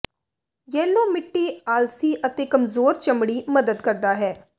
yellow ਮਿੱਟੀ ਆਲਸੀ ਅਤੇ ਕਮਜ਼ੋਰ ਚਮੜੀ ਮਦਦ ਕਰਦਾ ਹੈ